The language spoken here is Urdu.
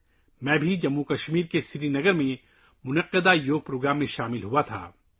میں نے سری نگر، جموں و کشمیر میں منعقد یوگا پروگرام میں بھی شرکت کی